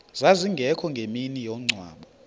zazingekho ngemini yomngcwabo